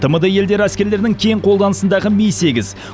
тмд елдері әскерлерінің кең қолданысындағы ми сегіз